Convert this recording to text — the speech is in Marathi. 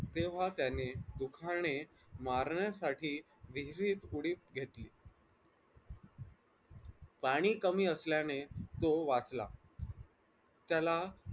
तेव्हा त्याने सुखाने मारण्यासाठी विहिरीत उडी घेतली पाणी कमी असल्याने तो वाचला त्याला